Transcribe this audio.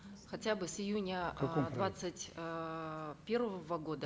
хотя бы с июня э двадцать эээ первого года